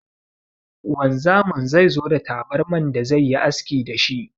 Wanzamin zai zo da tabarman da zai yi aski da shi.